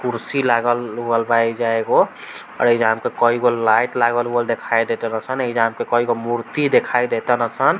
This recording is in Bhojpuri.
कुर्सी लागल-उगल बा ऐजा एगो आर ऐजा हमको कई गो लाइट लगावल-उगावल देखाई देतन असन ऐजा हमको कईगो मूर्ति दिखाई देतन असन।